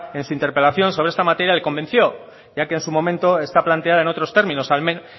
en su interpelación sobre esta materia le convenció ya que en su momento está planteada en otros términos